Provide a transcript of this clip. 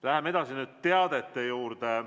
Läheme edasi teadete juurde.